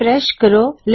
refresh ਕਰੋ